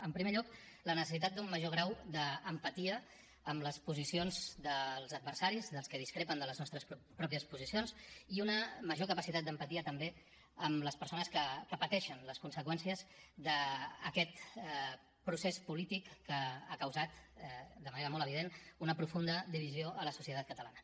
en primer lloc la necessitat d’un major grau d’empatia amb les posicions dels adversaris dels que discrepen de les nostres pròpies posicions i una major capacitat d’empatia també amb les persones que pateixen les conseqüències d’aquest procés polític que ha causat de manera molt evident una profunda divisió a la societat catalana